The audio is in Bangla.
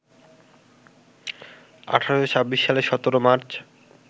১৮২৬ সালে ১৭ মার্চ